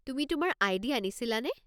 তুমি তোমাৰ আই.ডি. আনিছিলানে?